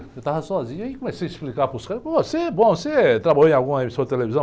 Eu estava sozinho, aí comecei a explicar para os caras, pô, você é bom, você trabalhou em alguma emissora de televisão?